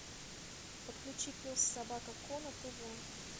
подключи пес собака ко на тв